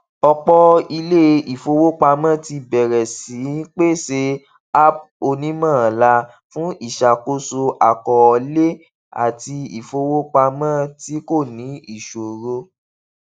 ọpọ ilé ìfowópamọ ti bẹrẹ sí í pèsè app onímọọlà fun iṣàkóso àkọọlẹ àti ìfowópamọ tí kò ní ìṣòro